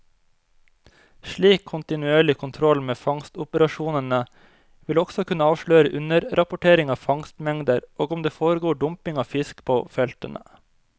Slik kontinuerlig kontroll med fangstoperasjonene vil også kunne avsløre underrapportering av fangstmengder og om det foregår dumping av fisk på feltene.